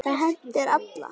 Það hendir alla